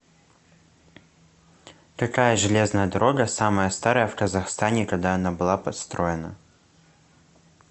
какая железная дорога самая старая в казахстане когда она была построена